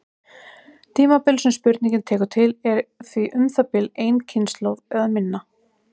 Tímabilið sem spurningin tekur til er því um það bil ein kynslóð eða minna.